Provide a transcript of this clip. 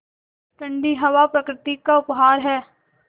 ठण्डी हवा प्रकृति का उपहार है